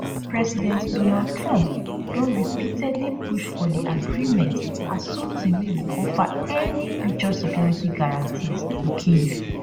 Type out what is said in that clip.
president donald trump don repeatedly push for di agreement as something wey go offer any future security guarantees to kyiv